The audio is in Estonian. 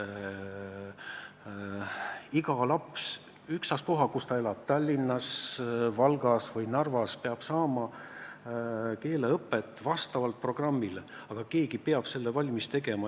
Iga laps, ükstaspuha, kus ta elab – Tallinnas, Valgas või Narvas –, peab saama keeleõpet vastavalt programmile, aga keegi peab selle valmis tegema.